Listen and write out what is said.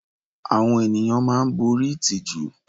Àwọn ènìyàn máa ń borí ìtìjú.